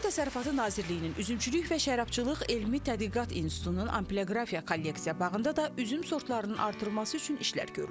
Kənd Təsərrüfatı Nazirliyinin Üzümçülük və Şərabçılıq elmi Tədqiqat İnstitutunun ambioqrafiya kolleksiya bağında da üzüm sortlarının artırılması üçün işlər görülür.